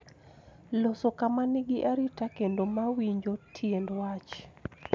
Loso kama nigi arita kendo ma winjo tiend wach,